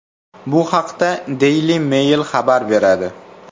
Bu haqda Daily Mail xabar beradi.